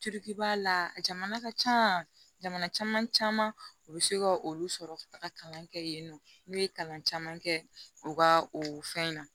Corikiba la jamana ka ca jamana caman caman u be se ka olu sɔrɔ ka taga kalan kɛ yen nɔ n'u ye kalan caman kɛ u ka o fɛn in na